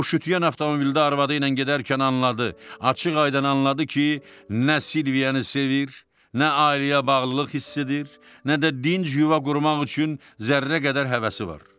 O, şütüyən avtomobildə arvadı ilə gedərkən anladı, açıq-aydın anladı ki, nə Silvianı sevir, nə ailəyə bağlılıq hiss edir, nə də dinc yuva qurmaq üçün zərrə qədər həvəsi var.